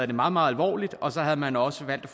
det meget meget alvorligt og så havde man også valgt